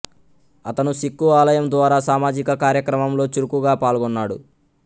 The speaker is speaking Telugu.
అతను సిక్కు ఆలయం ద్వారా సామాజిక కార్యక్రమంలో చురుకుగా పాల్గొన్నాడు